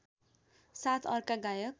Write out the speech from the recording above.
साथ अर्का गायक